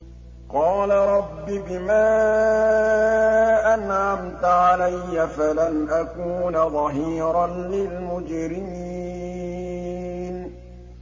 قَالَ رَبِّ بِمَا أَنْعَمْتَ عَلَيَّ فَلَنْ أَكُونَ ظَهِيرًا لِّلْمُجْرِمِينَ